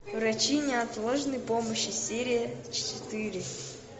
врачи неотложной помощи серия четыре